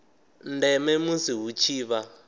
ndeme musi hu tshi vha